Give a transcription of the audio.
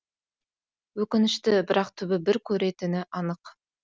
өкінішті бірақ түбі бір көретіні анық